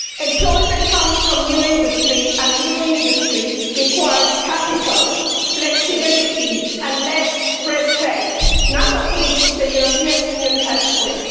Employment comes from new industry and new industry requires capital, flexibility and less red tape none of which the European Union helps with.